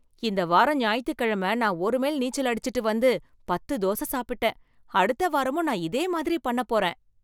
இந்த வாரம் ஞாயித்துக்கிழமை நான் ஒரு மைல் நீச்சல் அடிச்சுட்டு வந்து பத்து தோசை சாப்பிட்டேன். அடுத்த வாரமும் நான் இதே மாதிரி பண்ணபோறேன்.